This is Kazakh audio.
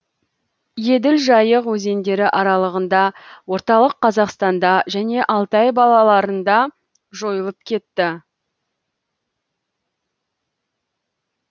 еділ жайық өзендері аралығында орталық қазақстанда және алтай балаларында жойылып кетті